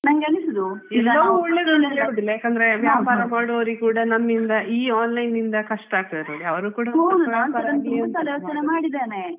ವ್ಯಾಪಾರ ಮಾಡುವರಿಗೂ ಈ online ಇಂದ ತುಂಬಾ ಕಷ್ಟ ಆಗ್ತದೆ